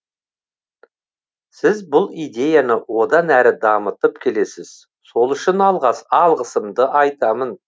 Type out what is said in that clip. сіз бұл идеяны одан әрі дамытып келесіз сол үшін алғысымды айтамын